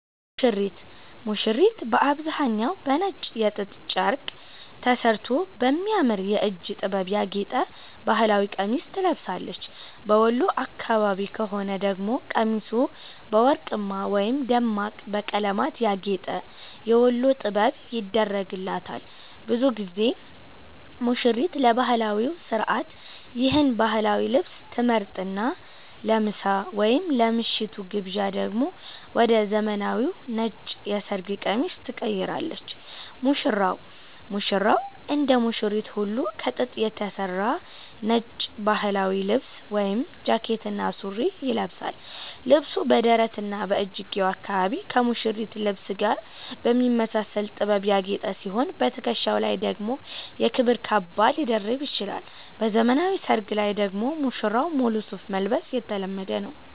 ሙሽሪት፦ ሙሽሪት በአብዛኛው በነጭ የጥጥ ጨርቅ ተሠርቶ በሚያምር የእጅ ጥበብ ያጌጠ ባህላዊ ቀሚስ ትለብሳለች። በወሎ አካባቢ ከሆነ ደግሞ ቀሚሱ በወርቅማ ወይም ደማቅ በቀለማት ያጌጠ "የወሎ ጥበብ" ይደረግላታል። ብዙ ጊዜ ሙሽሪት ለባህላዊው ሥርዓት ይህን ባህላዊ ልብስ ትመርጥና፣ ለምሳ ወይም ለምሽቱ ግብዣ ደግሞ ወደ ዘመናዊው ነጭ የሰርግ ቀሚስ ትቀይራለች። ሙሽራው፦ ሙሽራውም እንደ ሙሽሪት ሁሉ ከጥጥ የተሠራ ነጭ ባህላዊ ልብስ (ጃኬትና ሱሪ) ይለብሳል። ልብሱ በደረትና በእጅጌው አካባቢ ከሙሽሪት ልብስ ጋር በሚመሳሰል ጥበብ ያጌጠ ሲሆን፣ በትከሻው ላይ ደግሞ የክብር ካባ ሊደርብ ይችላል። በዘመናዊ ሰርግ ላይ ደግሞ ሙሽራው ሙሉ ሱፍ መልበስ የተለመደ ነው።